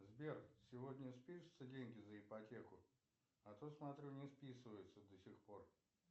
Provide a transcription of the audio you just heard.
сбер сегодня спишутся деньги за ипотеку а то смотрю не списываются до сих пор